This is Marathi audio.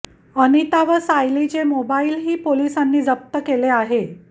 अनिता व सायलीचे मोबाइलही पोलिसांनी जप्त केले आहे